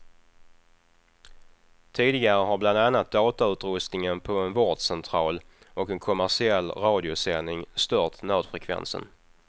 Tidigare har bland annat datautrustningen på en vårdcentral och en kommersiell radiosändning stört nödfrekvensen.